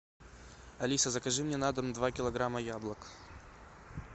алиса закажи мне на дом два килограмма яблок